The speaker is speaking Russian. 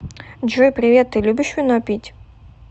джой привет ты любишь вино пить